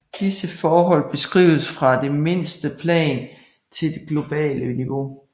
Disse forhold beskrives fra det mindste plan til det globale niveau